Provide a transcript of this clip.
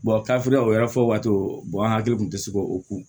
o yɔrɔ fɔ waati an hakili kun te se k'o ko